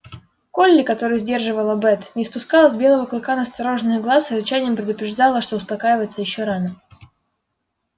колли которую сдерживала бэт не спускала с белого клыка настороженных глаз и рычанием предупреждала что успокаиваться ещё рано